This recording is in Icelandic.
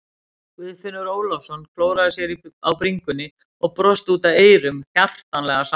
Guðfinnur Ólafsson klóraði sér á bringunni og brosti út að eyrum, hjartanlega sammála.